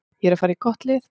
Ég er að fara í gott lið.